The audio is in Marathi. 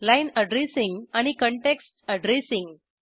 लाईन अॅड्रेसिंग आणि काँटेक्स्ट अॅड्रेसिंग